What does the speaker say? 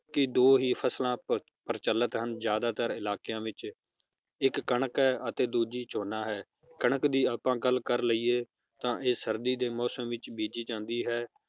ਕਿ ਦੋ ਹੀ ਫਸਲਾਂ ਪਰ~ ਪ੍ਰਚਲਤ ਹਨ ਜ਼ਆਦਾਤਰ ਇਲਾਕਿਆਂ ਵਿਚ ਇਕ ਕਣਕ ਹੈ ਅਤੇ ਦੂਜੀ ਝੋਨਾ ਹੈ ਕਣਕ ਦੀ ਆਪਾਂ ਗੱਲ ਕਰ ਲਇਏ ਤਾਂ ਇਹ ਸਰਦੀ ਦੇ ਮੌਸਮ ਵਿਚ ਬੀਜੀ ਜਾਂਦੀ ਹੈ